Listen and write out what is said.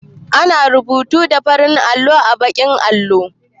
Ana rubutu da farin alƙalami a baƙin allo